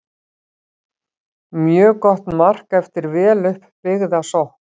Mjög gott mark eftir vel upp byggða sókn.